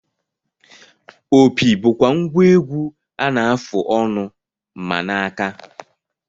Opi bụkwa ngwa egwu a na-afụ ọnụ ma na aka